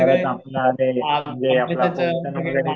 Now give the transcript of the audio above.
परत आपलं ते वगैरे